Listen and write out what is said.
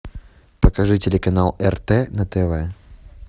покажи телеканал рт на тв